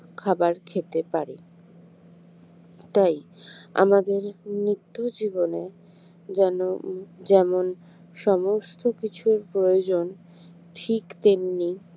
খাবার খেতে পারি তাই আমাদের নিত্য জীবনে যেন যেমন সমস্ত কিছুর প্রয়োজন ঠিক তেমনি